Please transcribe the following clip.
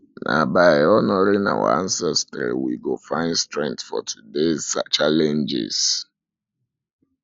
na by honoring our ancestry we go find strength for todays challenges